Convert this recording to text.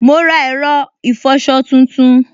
Mo ra ẹ̀rọ ìfọsọ tuntun